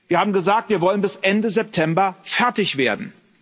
Wir haben gesagt Wir wollen bis Ende September fertig werden.